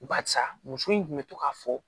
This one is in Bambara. Barisa muso in kun bɛ to k'a fɔ